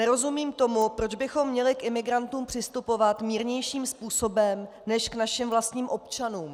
Nerozumím tomu, proč bychom měli k imigrantům přistupovat mírnějším způsobem než k našim vlastním občanům.